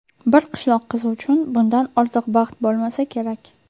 Bir qishloq qizi uchun bundan ortiq baxt bo‘lmasa kerak!